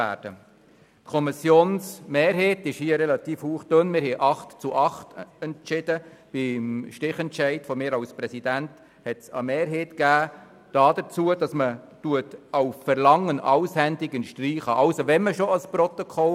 Die Kommissionsmehrheit ist hauchdünn mit 8 zu 8 Stimmen bei Stichentscheid des Kommissionspräsidenten der Meinung, dass die Wendung «auf Verlangen» gestrichen werden soll.